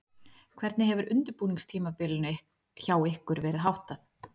Hvernig hefur undirbúningstímabilinu hjá ykkur verið háttað?